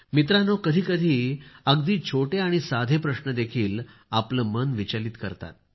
मित्रांनो कधीकधी अगदी छोटे आणि साधे प्रश्न देखील आपले मन विचलित करतात